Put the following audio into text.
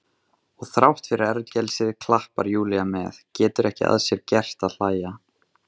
Og þrátt fyrir ergelsið klappar Júlía með, getur ekki að sér gert að hlæja.